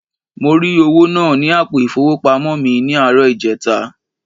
Mo ri owo naa ni apo ifowopamo mi ni aaro ijeta.